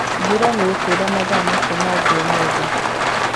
Mbura nĩikura mathaa macio mangĩ ũmũthĩ.